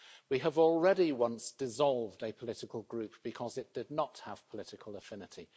We have already, on one occasion, dissolved a political group because it did not have political affinity.